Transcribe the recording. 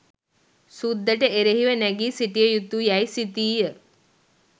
සුද්දට එරෙහිව නැඟී සිටිය යුතු යැයි සිතීය.